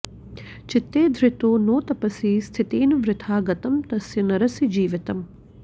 चित्ते धृतो नो तपसि स्थितेन वृथा गतं तस्य नरस्य जीवितम्